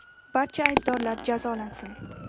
Barcha aybdorlar jazolansin.